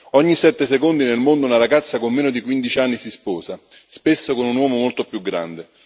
Ogni sette secondi nel mondo, una ragazza con meno di 15 anni si sposa, spesso con un uomo molto più grande.